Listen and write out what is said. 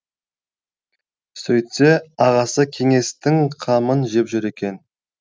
сөйтсе ағасы кеңестің қамын жеп жүр екен